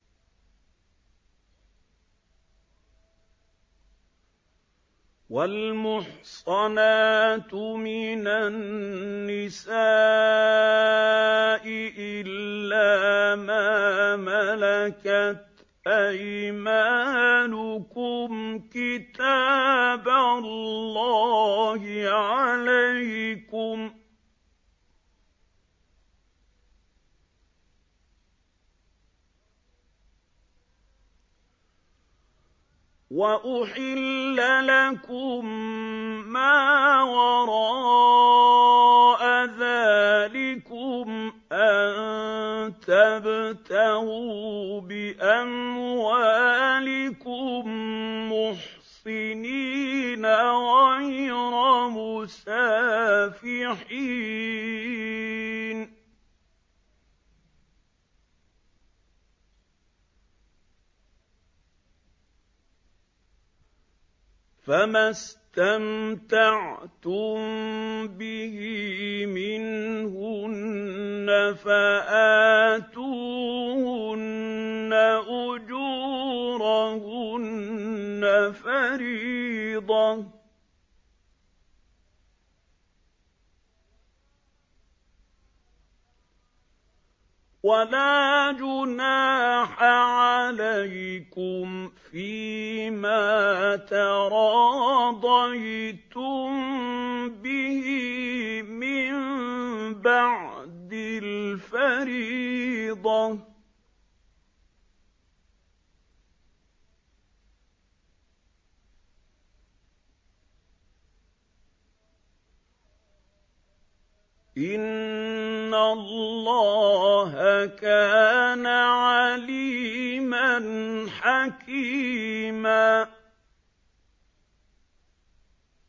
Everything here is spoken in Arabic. ۞ وَالْمُحْصَنَاتُ مِنَ النِّسَاءِ إِلَّا مَا مَلَكَتْ أَيْمَانُكُمْ ۖ كِتَابَ اللَّهِ عَلَيْكُمْ ۚ وَأُحِلَّ لَكُم مَّا وَرَاءَ ذَٰلِكُمْ أَن تَبْتَغُوا بِأَمْوَالِكُم مُّحْصِنِينَ غَيْرَ مُسَافِحِينَ ۚ فَمَا اسْتَمْتَعْتُم بِهِ مِنْهُنَّ فَآتُوهُنَّ أُجُورَهُنَّ فَرِيضَةً ۚ وَلَا جُنَاحَ عَلَيْكُمْ فِيمَا تَرَاضَيْتُم بِهِ مِن بَعْدِ الْفَرِيضَةِ ۚ إِنَّ اللَّهَ كَانَ عَلِيمًا حَكِيمًا